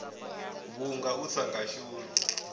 vhunga u sa nga shumi